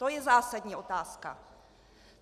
To je zásadní otázka.